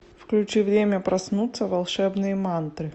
включи время проснуться волшебные мантры